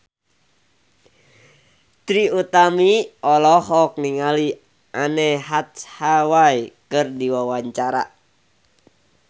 Trie Utami olohok ningali Anne Hathaway keur diwawancara